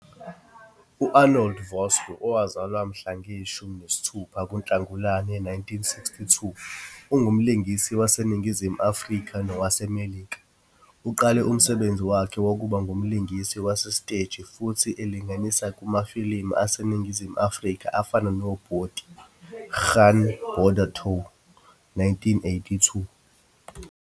U-Arnold Vosloo, owazalwa mhla zishumi nesithupha kuNhlagulane 1962, ungumlingisi waseNingizimu Afrika nowaseMelika. Uqale umsebenzi wakhe wokuba ngumlingisi wasesiteji futhi elingisa kumafilimu aseNingizimu Afrika afana noBoetie "Gaan Border Toe" 1984.